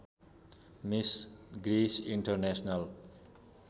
miss Grace international